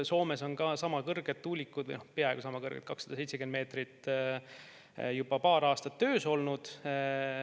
Soomes on sama kõrged tuulikud, peaaegu sama kõrged, 270 meetrit, juba paar aastat töös olnud.